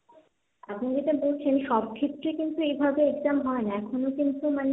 আপনি যেটা বলছেন সব ক্ষেত্রেই কিন্তু এইভাবে exam হয় না, এখনও কিন্তু মানে,